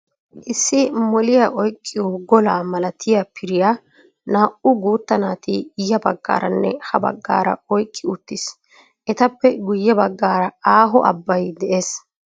Issi moliyaa oyqqiyoo golaa malatiya piriyaa naa"u guutta naati ya baggaaranne ha baggaara oyqqi uttiis. Etappe guye baggaara aaho abbay de'ees.